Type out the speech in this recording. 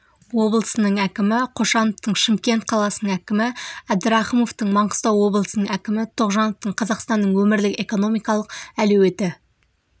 облысының әкімі қошановтың шымкент қаласының әкімі әбдірахымовтың маңғыстау облысының әкімі тоғжановтың қазақстанның өңірлік экономикалық әлеуеті